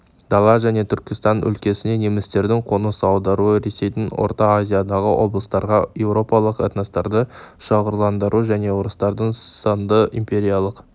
дала және түркістан өлкесіне немістердің қоныс аударуы ресейдің орта азиядағы облыстарға еуропалық этностарды шоғырландыру және орыстандыру сынды империялық